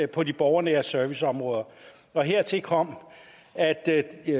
på de borgernære serviceområder hertil kom at det